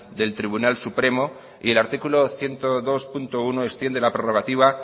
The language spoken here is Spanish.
del tribunal supremo y el artículo ciento dos punto uno extiende la prorrogativa